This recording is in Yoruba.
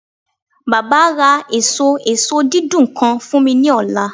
Baba a ra eso eso didun kan fun mi ni ọla